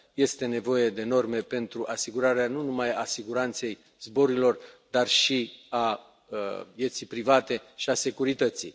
Este nevoie de norme pentru asigurarea nu numai a siguranței zborurilor, dar și a vieții private și a securității.